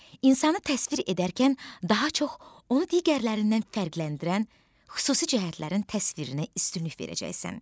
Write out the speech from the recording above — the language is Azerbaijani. İnsanı təsvir edərkən daha çox onu digərlərindən fərqləndirən xüsusi cəhətlərin təsvirinə üstünlük verəcəksən.